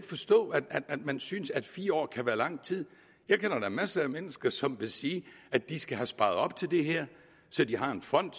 forstå at man synes at fire år kan være lang tid jeg kender da masser af mennesker som vil sige at de skal have sparet op til det her så de har en fond